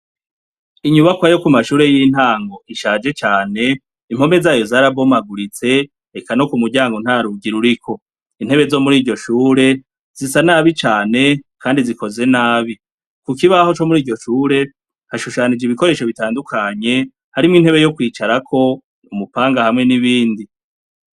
Inyubakwa yo ku mashure y'intango ishaje cane impome zayo zarabomaguritse eka no ku muryango nta ruga iruriko intebe zo muri iryo shure zisa nabi cane, kandi zikoze nabi ku kibaho co muri iryo chure hashushanije ibikoresho bitandukanye harimwo intebe yo kwicarako umupanga hamwenie ibindi.